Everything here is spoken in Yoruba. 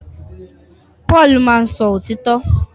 Paul máá ń sọ òtítọ́